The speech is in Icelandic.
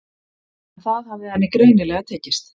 En það hafði henni greinilega tekist